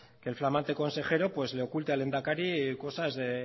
que el flamante consejero le oculte al lehendakari cosas de